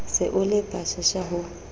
se o le pshasha ho